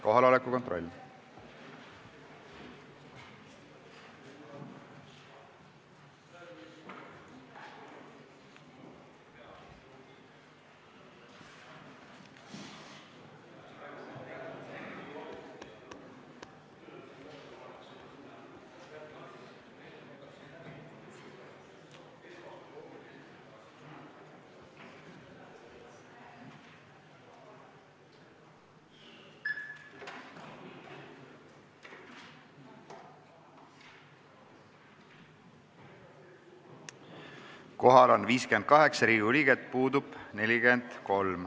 Kohaloleku kontroll Kohal on 58 Riigikogu liiget, puudub 43.